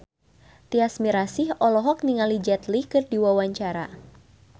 Tyas Mirasih olohok ningali Jet Li keur diwawancara